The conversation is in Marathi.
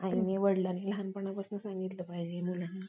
आईने वडिलांनी लहानपणापासून सांगितलं पाहिजे मुलांना